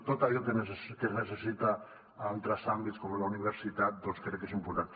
tot allò que es necessita a altres àmbits com la universitat doncs crec que és important